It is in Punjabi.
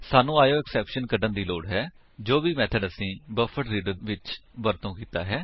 ਸਾਨੂੰ ਆਇਓਐਕਸੈਪਸ਼ਨ ਕੱਢਣ ਦੀ ਲੋੜ ਹੈ ਜੋ ਵੀ ਮੇਥਡ ਅਸੀਂ ਬਫਰਡਰੀਡਰ ਵਿੱਚ ਵਰਤੋ ਕੀਤਾ ਹੈ